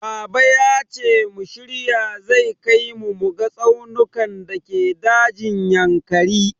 Baba yace mu shirya zai kai mu muga tsaunukan dake dajin Yankari.